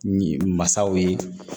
Masaw ye